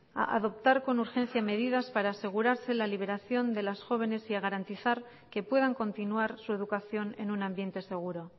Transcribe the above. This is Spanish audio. a adoptar con urgencia medidas para asegurarse la liberación de las jóvenes y garantizar que puedan continuar su educación en un ambiente seguro